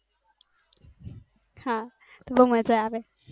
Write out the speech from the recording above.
હા બૌ મજા આવે